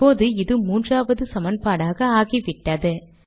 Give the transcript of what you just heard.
இப்போது இது மூன்றாவது சமன்பாடாக ஆகிவிட்டது